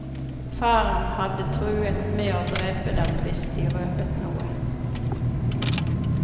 Faren hadde truet med å drepe dem hvis de røpet noe.